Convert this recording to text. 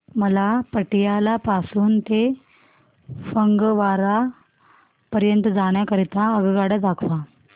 मला पटियाला पासून ते फगवारा पर्यंत जाण्या करीता आगगाड्या दाखवा